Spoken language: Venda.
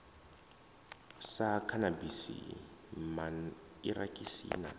sa khanabisi man irakisi na